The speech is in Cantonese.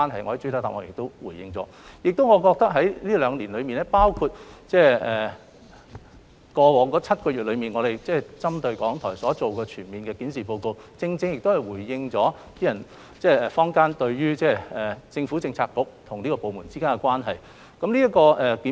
我認為在這兩年間，包括在過去7個月中，局方針對港台進行的全面檢視，正可回應坊間對政策局與該部門之間關係所提出的疑問。